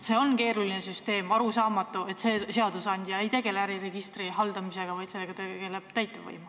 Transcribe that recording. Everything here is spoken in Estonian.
See on keeruline süsteem ja arusaamatu, miks ei tegele seadusandja äriregistri haldamisega, miks tegeleb sellega täitevvõim.